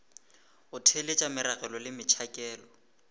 go theeletša meragelo le metšhakelo